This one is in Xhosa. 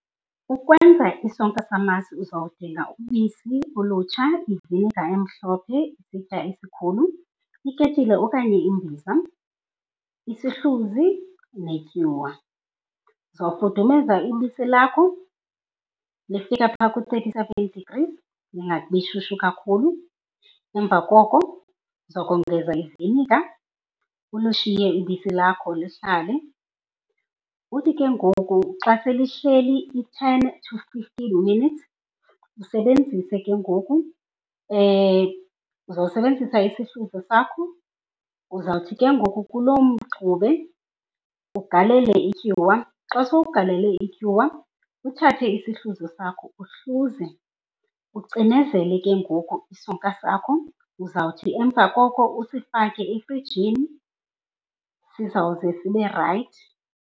Ukwenza isonka samasi uzawudinga ubisi olutsha, iviniga emhlophe, isitya esikhulu, iketile okanye imbiza, isihluzi, netyuwa. Uzawufudumeza ibisi lakho lifika phaa ku-thirty degrees, lingabi shushu kakhulu. Emva koko uzawukongeza iviniga ulushiye ibisi lakho lihlale. Uthi ke ngoku xa selihleli i-ten to fifteen minutes usebenzise ke ngoku, uzawusebenzisa isihluzi sakho. Uzawuthi ke ngoku kuloo mxube ugalele ityuwa. Xa sowugalele ityuwa uthathe isihluzi sakho uhluze ucinezele ke ngoku isonka sakho. Uzawuthi emva koko usifake efrijini, sizawuze sibe rayithi.